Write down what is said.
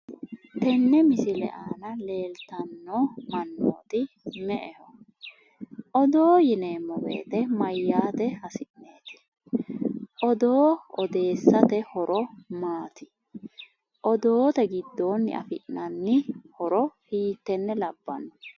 tene misile aana leellitano mannoti me'eho? oodo yinemowoyite maayate hasiineti? oodo oodesate hooro maati? oodote giddoni affinani hedo hiiteene labanonne?